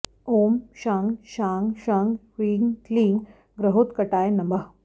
ॐ शं शां षं ह्रीं क्लीं ग्रहोत्कटाय नमः